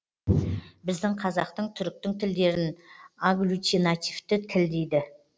біздің қазақтың түріктің тілдерін аглютинативті тіл дейді